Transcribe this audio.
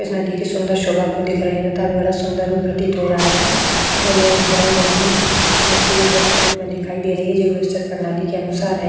इसमें देखिए सुंदर सुबह को देख रहे हैं। इनका भी बड़ा सुंदर रूप प्रतीत हो रहा है तथा ये उपजाऊ जमीन मिट्टी उर्वरक के रूप में दिखाई दे रही है। जो व्यवस्थित प्रणाली के अनुसार है।